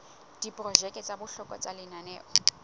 diprojeke tsa bohlokwa tsa lenaneo